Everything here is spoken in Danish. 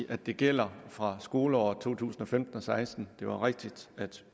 at det gælder fra skoleåret to tusind og femten til seksten det var rigtigt at